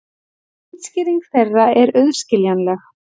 Útskýring þeirra er auðskiljanleg.